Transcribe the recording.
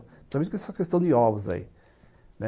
Principalmente com essa questão de ovos aí, né?